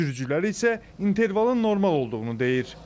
Sürücülər isə intervalın normal olduğunu deyir.